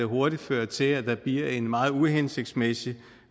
hurtigt føre til at der bliver en meget uhensigtsmæssig